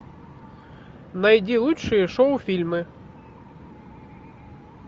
найди лучшие шоу фильмы